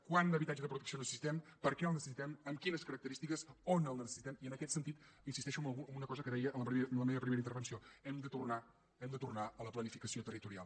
quant habitatge de protecció necessitem per què el necessitem amb quines característiques on el necessitem i en aquest sentit insisteixo en una cosa que deia en la meva primera intervenció hem de tornar a la planificació territorial